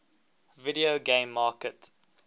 video game market